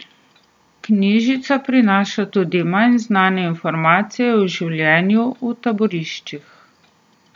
Knjižica prinaša tudi manj znane informacije o življenju v taboriščih.